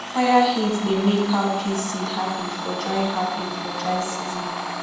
fire heat dey make cowpea seed happy for dry happy for dry season